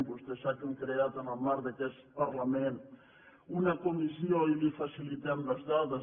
vostè sap que hem creat en el marc d’aquest parlament una comissió i li facilitem les dades